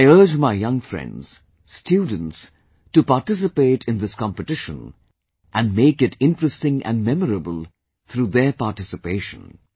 I urge my young friends, students to participate in this competition and make it interesting and memorable through their participation